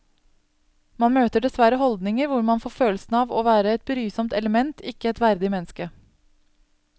Man møter dessverre holdninger hvor man får følelsen av å være et brysomt element, ikke et verdig menneske.